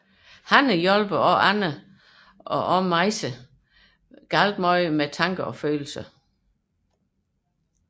Hanne hjælper blandt andre også Majse meget med hendes tanker og følelser